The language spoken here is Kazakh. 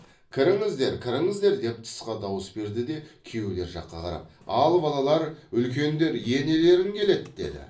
кіріңіз кіріңіздер деп тысқа дауыс берді де күйеулер жаққа қарап ал балалар үлкендер енелерің келеді деді